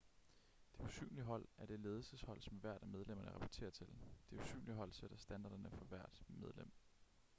det usynlige hold er det ledelseshold som hvert af medlemmerne rapporterer til det usynlige hold sætter standarderne for hvert medlem